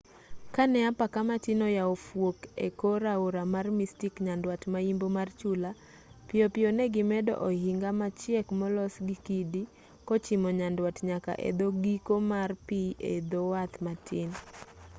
kane apaka matin oyawo fuok ekor aora mar mystic nyandwat mayimbo mar chula piyopiyo negi medo ohinga machiek molos gi kidi kochimo nyandwat nyaka edhoo giko mar pi e dho wath matin